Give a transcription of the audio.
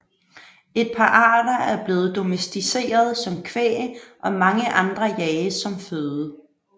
Et par arter er blevet domesticerede som kvæg og mange andre jages som føde